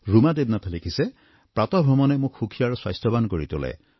ৰুমা দেৱনাথে লিখিছে প্ৰাতঃভ্ৰমণে মোক সুখী আৰু স্বাস্থ্যৱান কৰি তোলে